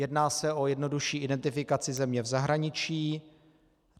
Jedná se o jednodušší identifikaci země v zahraničí.